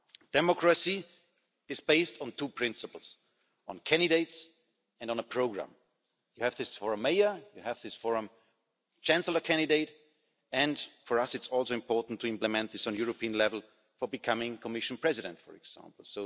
Democracy is based on two principles on candidates and on a programme. You have this for a mayor, you have this for a chancellor candidate and for us it's also important to implement this on a European level for becoming the Commission President, for example.